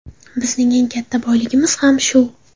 Bizning eng katta boyligimiz ham shu.